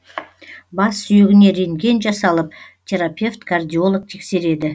бас сүйегіне рентген жасалып терапевт кардиолог тексереді